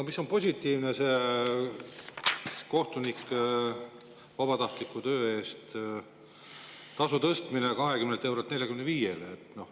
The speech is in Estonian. Positiivne on see kohtuniku vabatahtliku töö eest tasu tõstmine 20 eurolt 45-le.